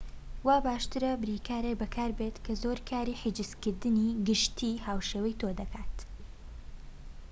وا باشترە بریکارێك بەکاربێت کە زۆر کاری حیجزکردنی گەشتی هاوشێوەی تۆ دەکات